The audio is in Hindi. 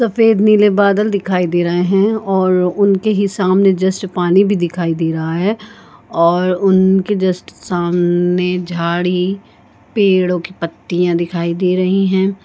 सफ़ेद नीले बादल दिखाई दे रहे हैं और उनके ही सामने जस्ट पानी भी दिखाई दे रहा है और उनके जस्ट सामने झाडी पेड़ों की पत्तियां दिखाई दे रही हैं।